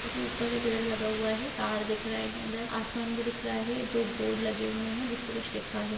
उसके ऊपर एक पेड़ लगा हुआ हैं तार दिख रहे हैं इधर आसमान भी दिख रहा है दो बोर्ड लगे हुए हैं जिसपे कुछ लिखा है।